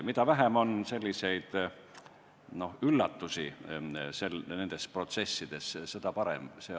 Mida vähem on nendes protsessides selliseid üllatusi, seda parem.